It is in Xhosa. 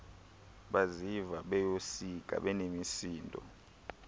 baziva besoyika benemisindo